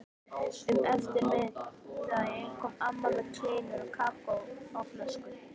Um eftirmiðdaginn kom amma með kleinur og kakó á flösku.